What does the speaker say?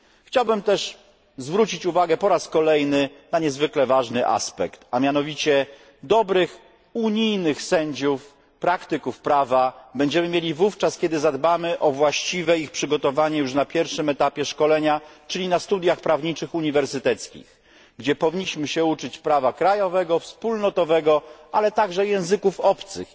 Chciałbym też zwrócić uwagę po raz kolejny na niezwykle ważny aspekt dobrych unijnych sędziów, praktyków prawa, będziemy mieli wówczas, kiedy zadbamy o właściwe ich przygotowanie już na pierwszym etapie szkolenia, czyli na uniwersyteckich studiach prawniczych, gdzie powinni się uczyć prawa krajowego, wspólnotowego, ale także języków obcych